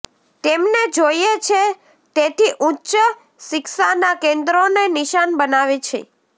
તેમને જોઈએ છે તેથી ઉચ્ચ શિક્ષાના કેન્દ્રોને નિશાન બનાવે છે